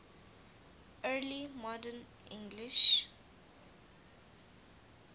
early modern english